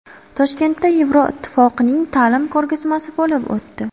Toshkentda Yevropa Ittifoqining ta’lim ko‘rgazmasi bo‘lib o‘tdi.